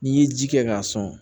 N'i ye ji kɛ k'a sɔn